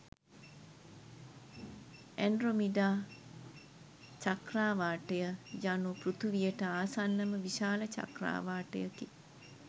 Andromeda චක්‍රාවාටය යනු පෘථිවියට ආසන්නම විශාල චක්‍රාවාටයකි.